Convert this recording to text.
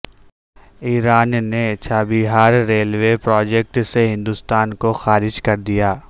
ایران نے Chabahar railway project سے ہندوستان کو خارج کر دیا